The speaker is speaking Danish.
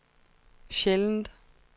sjældent